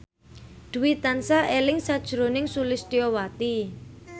Dwi tansah eling sakjroning Sulistyowati